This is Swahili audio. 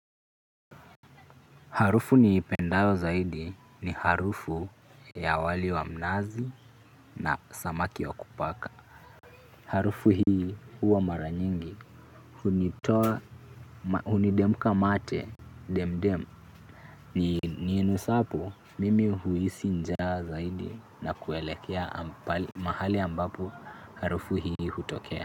Harufu nipendao zaidi ni harufu ya wali wa mnazi na samaki wa kupaka. Harufu hii huwa mara nyingi huni demka mate demdem. Ni inusapo mimi huhisi njaa zaidi na kuelekea mahali ambapo harufu hii hutokea.